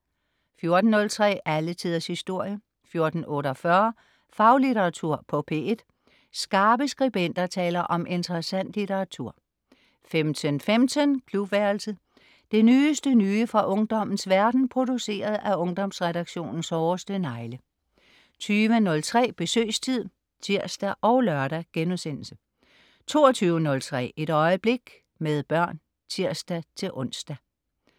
14.03 Alle tiders historie 14.48 Faglitteratur på P1. Skarpe skribenter taler om interessant litteratur 15.15 Klubværelset. Det nyeste nye fra ungdommens verden, produceret af Ungdomsredaktionens hårdeste negle 20.03 Besøgstid (tirs og lør)* 22.03 Et øjeblik - med børn (tirs-ons)